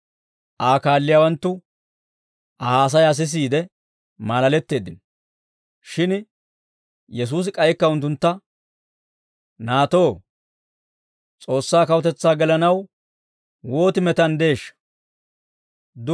Aa kaalliyaawanttu Aa haasayaa sisiide maalaletteeddino; shin Yesuusi k'aykka unttuntta, «Naatoo, S'oossaa kawutetsaa gelanaw wooti metanddeeshsha!